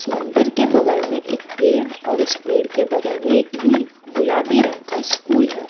मंदिर के बगल में एक पेड़ और उस पेड़ के बगल में नि गुलाबी रंग का स्कूल है।